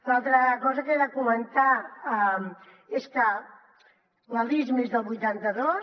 l’altra cosa que queda comentar és que la lismi és del vuitanta dos